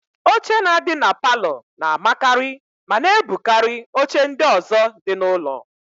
Oche na-adị na palọ na-amakarị ma na-ebukarị oche ndị ọ̀zọ́ dị n'ụlọ.